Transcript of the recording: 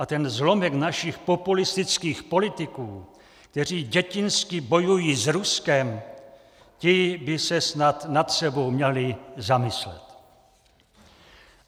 A ten zlomek našich populistických politiků, kteří dětinsky bojují s Ruskem, ti by se snad nad sebou měli zamyslet."